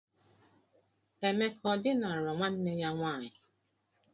Emeka ọ dinara nwanne ya nwaanyị?